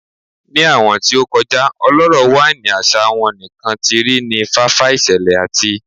Ni awọn ti o ti kọja ọlọrọ waini asa won nikan ti ri ni fafa iṣẹlẹ ati